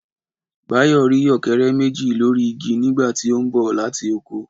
Báyọ̀ rí ọ̀kẹ́rẹ́ méjì lórí igi nígbà tí ó ń bọ̀ láti oko